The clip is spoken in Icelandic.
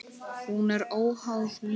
Hún er óháð lífinu.